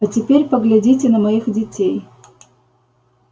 а теперь поглядите на моих детей